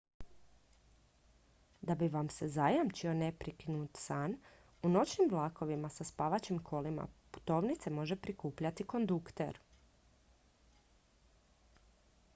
da bi vam se zajamčio neprekinut san u noćnim vlakovima sa spavaćim kolima putovnice može prikupljati kondukter